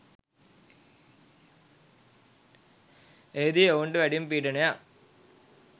එහිදී ඔවුන්ට වැඩිම පීඩනයක්